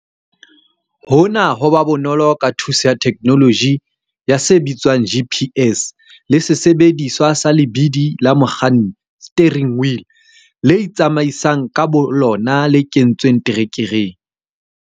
Hona ho ba bonolo ka thuso ya theknoloji ya se bitswang GPS le sesebediswa sa lebidi la mokganni steering wheel le itsamaisang ka bolona le kentsweng terekereng.